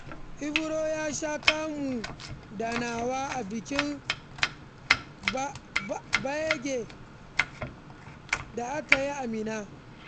Iro ya sha kunu da nama a bikin Gbagyi da aka yi a Minna.